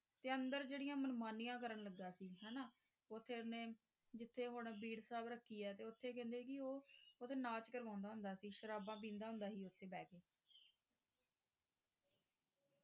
ਤੇ ਅੰਦਰ ਜਿਹੜੀਆਂ ਮਨਮਾਨੀਆਂ ਕਰਨ ਲੱਗਾ ਸੀ ਹਨਾ, ਉੱਥੇ ਉਹਨੇ ਜਿਥੇ ਹੁਣ ਬੀੜ ਸਾਹਿਬ ਰੱਖੀ ਐ ਤੇ ਉੱਥੇ ਕਹਿੰਦੇ ਕਿ ਉਹ ਉੱਥੇ ਨਾਚ ਕਰਵਾਉਂਦਾ ਹੁੰਦਾ ਸੀ, ਸ਼ਰਾਬਾਂ ਪੀਂਦਾ ਹੁੰਦਾ ਸੀ ਉੱਥੇ ਬਹਿ ਕੇ